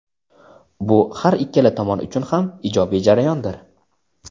Bu har ikkala tomon uchun ham ijobiy jarayondir.